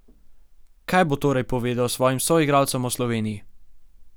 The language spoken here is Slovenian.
Kaj bo torej povedal svojim soigralcem o Sloveniji?